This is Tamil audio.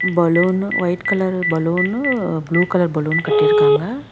Balloon white colour balloon blue colour balloon கட்டிருக்காங்க.